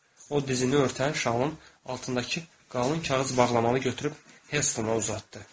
O dizini örtən şalın altındakı qalın kağız bağlamanı götürüb Helstona uzatdı.